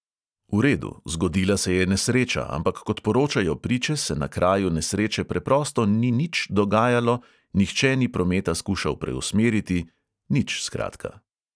V redu, zgodila se je nesreča, ampak kot poročajo priče, se na kraju nesreče preprosto ni nič dogajalo, nihče ni prometa skušal preusmeriti, nič, skratka.